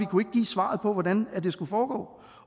kunne give svaret på hvordan det skulle foregå